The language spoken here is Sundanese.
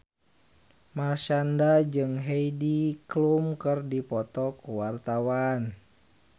Marshanda jeung Heidi Klum keur dipoto ku wartawan